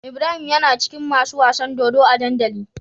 Ibrahim yana cikin masu wasan dodo a dandali